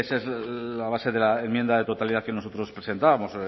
es la base de la enmienda de totalidad que nosotros presentábamos